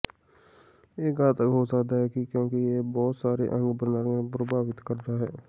ਇਹ ਘਾਤਕ ਹੋ ਸਕਦਾ ਹੈ ਕਿਉਂਕਿ ਇਹ ਬਹੁਤ ਸਾਰੇ ਅੰਗ ਪ੍ਰਣਾਲੀਆਂ ਨੂੰ ਪ੍ਰਭਾਵਤ ਕਰਦਾ ਹੈ